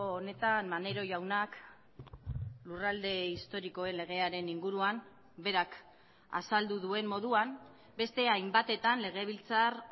honetan maneiro jaunak lurralde historikoen legearen inguruan berak azaldu duen moduan beste hainbatetan legebiltzar